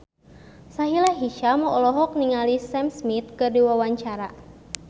Sahila Hisyam olohok ningali Sam Smith keur diwawancara